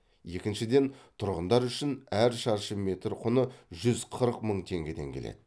екіншіден тұрғындар үшін әр шаршы метр құны жүз қырық мың теңгеден келеді